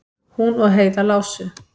Hún og Heiða lásu